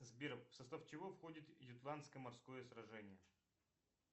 сбер в состав чего входит ютландское морское сражение